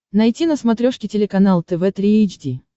найти на смотрешке телеканал тв три эйч ди